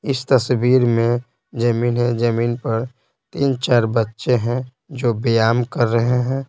इस तस्वीर में जमीन है जमीन पर तीन-चार बच्चे हैं जो बियाम कर रहे हैं।